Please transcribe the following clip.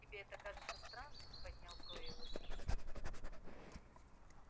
тебе это кажется странным поднял брови его собеседник